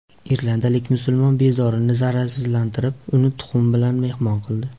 Irlandiyalik musulmon bezorini zararsizlantirib, uni tuxum bilan mehmon qildi.